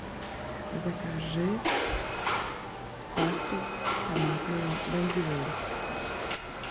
закажи пасту томатную бондюэль